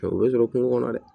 O bɛ sɔrɔ kungo kɔnɔ dɛ